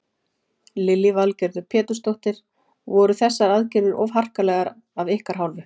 Lillý Valgerður Pétursdóttir: Voru þessar aðgerðir of harkalegar af ykkar hálfu?